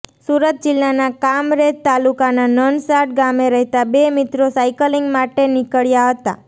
સુરત જિલ્લાના કામરેજ તાલુકાનાં નનસાડ ગામે રહેતા બે મિત્રો સાયકલીંગ માટે નીકળ્યા હતા